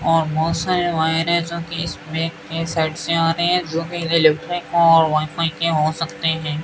और बहोत सारे वायरे जोकि इस बेक के साइड से आ रहे हैं जो कि इलेक्ट्रिक्ट और वाईफाई के हो सकते हैं।